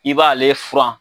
I b'ale furan.